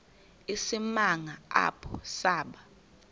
isimanga apho saba